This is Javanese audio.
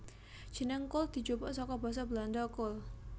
Jeneng kul dijupuk saka basa Belanda kool